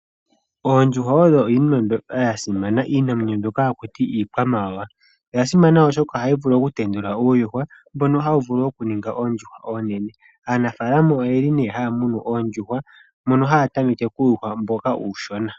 Oondjuhwa odho iinima mbyoka ya simana. Iinamwenyo mbyoka hakutiwa iikwamawawa. Oya simana oshoka ohayi vulu oku tendula uuyuhwa mbono hawu vulu oku ninga oondjuhwa oonene. Aanafaalama oyeli haya munu oondjuhwa mono haya tameke uuyuhwa mboka uushona.